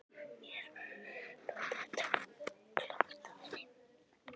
Mér þótti þetta klókt af henni.